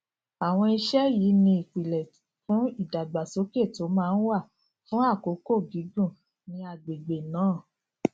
àwọn iṣẹ yìí ni ìpìlè fún ìdàgbàsókè tó máa wà fún àkókò gígùn ní àgbègbè náà